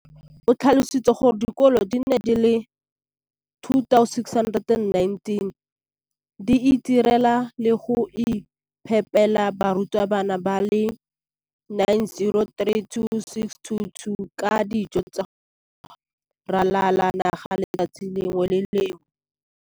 o tlhalositse gore dikolo di le 20 619 di itirela le go iphepela barutwana ba le 9 032 622 ka dijo go ralala naga letsatsi le lengwe le le lengwe.